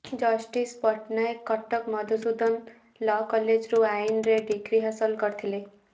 justice Pattanaik Cuttack Madhusudan law କଲେଜରୁ ଆଇନରେ ଡିଗ୍ରୀ ହାସଲ କରିଥିଲେ